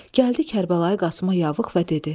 Gəldi Kərbəlayi Qasımə yavıq və dedi: